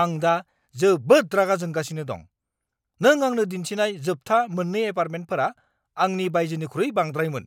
आं दा जोबोद रागा जोंगासिनो दं। नों आंनो दिन्थिनाय जोबथा मोन्नै एपार्टमेन्टफोरा आंनि बाजेटनिख्रुइ बांद्रायमोन।